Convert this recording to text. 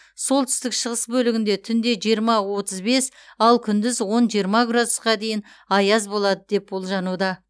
солтүстік шығыс бөлігінде түнде жиырма отыз бес ал күндіз он жиырма градусқа дейін аяз болады деп болжануда